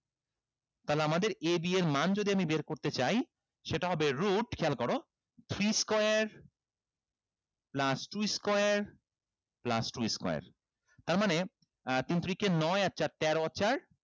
তাহলে আমাদের a b এর মান যদি আমি বের করতে চাই সেটা হবে root খেয়াল করো three square plus two square plus two square তার মানে আহ তিন তিরিকে নয় আর চার তেরো আর চার